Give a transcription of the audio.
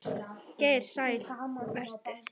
Geir Sæll vertu.